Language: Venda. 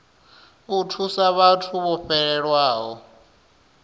u thusa vhathu vho fhelelwaho